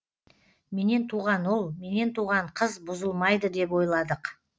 менен туған ұл менен туған қыз бұзылмайды деп ойладық